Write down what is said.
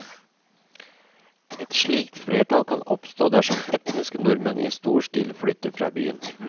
Et slikt flertall kan oppstå dersom etniske nordmenn i stor stil flytter fra byen.